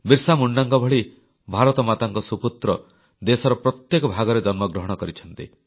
ବିର୍ସା ମୁଣ୍ଡାଙ୍କ ଭଳି ଭାରତମାତାଙ୍କ ସୁପୁତ୍ର ଦେଶର ପ୍ରତ୍ୟେକ ଭାଗରେ ଜନ୍ମଗ୍ରହଣ କରିଛନ୍ତି